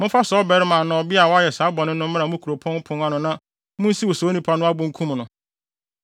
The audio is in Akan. momfa saa ɔbarima anaa ɔbea a wayɛ saa bɔne no mmra mo kuropɔn pon ano na munsiw saa onipa no abo nkum no.